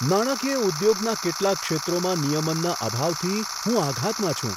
નાણાકીય ઉદ્યોગના કેટલાક ક્ષેત્રોમાં નિયમનના અભાવથી હું આઘાતમાં છું.